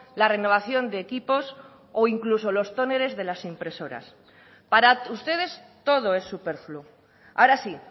la renovación de equipos o incluso los tóneres de las impresoras para ustedes todo es superfluo ahora sí